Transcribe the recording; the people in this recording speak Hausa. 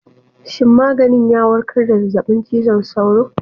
Shin maganin ya warkar da zazzabin cizon sauro?